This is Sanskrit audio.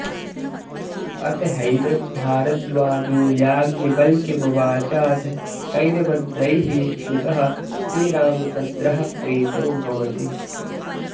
अथ हैनं भारद्वाजो याज्ञवल्क्यमुवाचाथ कैर्मन्त्रैः स्तुतः श्रीरामचन्द्रः प्रीतो भवति